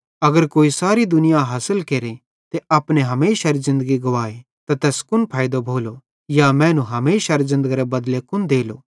अगर कोई सारी दुनिया हासिल केरे ते अपने हमेशारे ज़िन्दगी गुवाए त तैस कुन फैइदो भोलो या मैनू हमेशारे ज़िन्दगरे बदले कुन देलो